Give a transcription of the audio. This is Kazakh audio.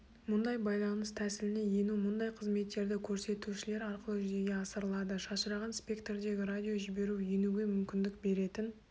мұндай байланыс тәсіліне ену мұндай қызметтерді көрсетушілер арқылы жүзеге асырылады шашыраған спектрдегі радиожіберу енуге мүмкіндік беретін